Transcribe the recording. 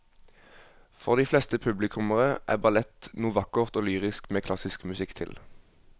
For de fleste publikummere er ballett noe vakkert og lyrisk med klassisk musikk til.